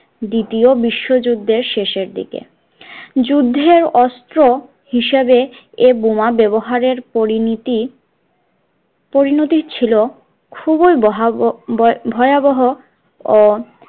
দ্বিতীয় বিশ্বযুদ্ধের শেষের দিকে যুদ্ধের অস্ত্র হিসেবে এ বোমা ব্যবহারের পরিণীতই পরিণতি ছিল খুবই বয়াবহ ভয়াবহ ও